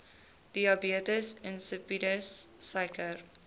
diabetes insipidus suiker